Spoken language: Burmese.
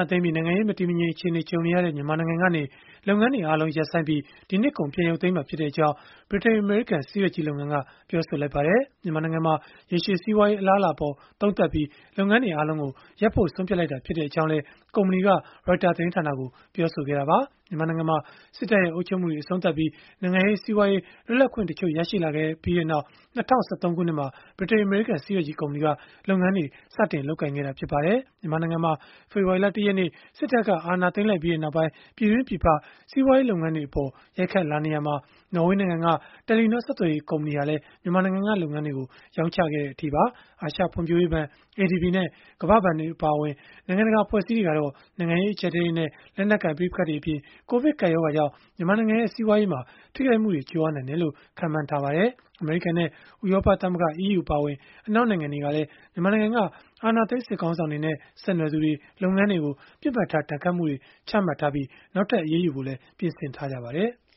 ာသိမ်းပြီး နိုင်ငံရေး မတည်မငြိမ် အခြေအနေနဲ့ ကြုံနေရတဲ့ မြန်မာနိုင်ငံကနေ လုပ်ငန်းတွေအားလုံး ရပ်ဆိုင်းပြီး၊ ဒီနှစ်ကုန် ပြန်ရုပ်သိမ်းမှာဖြစ်ကြောင်း ဗြိတိန်၊ အမေရိကန် ဆေးရွက်ကြီး လုပ်ငန်းက ပြောလိုက်ပါတယ်။ မြန်မာနိုင်ငံမှာ ရေရှည်စီးပွားရေး အလားအလာအပေါ် သုံးသပ်ပြီး လုပ်ငန်းတွေအားလုံးကို ရပ်ဖို့ဆုံးဖြတ်လိုက်တာဖြစ်ကြောင်းလည်း ကုမ္ပဏီက Reuters သတင်းဌာနကို ပြောဆိုခဲ့တာပါ။ မြန်မာနိုင်ငံမှာ စစ်တပ်ရဲ့ အုပ်ချုပ်မှုအဆုံးသတ်ပြီး နိုင်ငံရေး၊ စီးပွားရေး လွတ်လပ်ခွင့်တချို့ ရလာခဲ့ပြီးနောက် ၂၀၁၃ ခုနှစ်မှာ ဗြိတိန်၊ အမေရိကန် ဆေးရွက်ကြီး ကုမ္ပဏီက လုပ်ငန်းတွေ စတင်လုပ်ကိုင်ခဲ့တာ ဖြစ်ပါတယ်။ မြန်မာနိုင်ငံမှာ ဖေဖော်ဝါရီလ ၁ ရက်နေ့ စစ်တပ်က အာဏာသိမ်းလိုက်ပြီးနောက်ပိုင်း ပြည်တွင်း၊ ပြည်ပ စီးပွားရေး လုပ်ငန်းတွေအပေါ် ရိုက်ခတ်လာနေရာမှာ နော်ဝေးနိုင်ငံက တယ်လီနော ဆက်သွယ်ရေး ကုမ္ပဏီဟာလည်း မြန်မာနိုင်ငံက လုပ်ငန်းတွေကို ရောင်းချခဲ့တဲ့အထိပါ။ အာရှဖွံ့ဖြိုးရေးဘဏ် (ADB) နဲ့ ကမ္ဘာ့ဘဏ် အပါအဝင် နိုင်ငံတကာ အဖွဲ့အစည်းတွေကတော့ နိုင်ငံရေး အကျပ်အတည်းတွေနဲ့ လက်နက်ကိုင် ပဋိပက္ခတွေအပြင် ကိုဗစ်ကပ်ရောဂါကြောင့် မြန်မာနိုင်ငံရဲ့ စီးပွားရေးမှာ ထိခိုက်မှုတွေ ကြုံရနိုင်တယ်လို့ ခန့်မှန်းထားကြပါတယ်။ အမေရိကန်နဲ့ ဥရောပသမဂ္ဂ (EU) အပါအဝင် အနောက်နိုင်ငံတွေကလည်း မြန်မာနိုင်ငံက အာဏာသိမ်း စစ်ခေါင်းဆောင်တွေနဲ့ ဆက်နွယ်သူတွေ၊ လုပ်ငန်းတွေကို ပစ်မှတ်ထား ဒဏ်ခတ်မှုတွေ ချမှတ်ထားပြီး နောက်ထပ် အရေးယူသွားဖို့လည်း ပြင်ဆင်နေကြပါတယ်။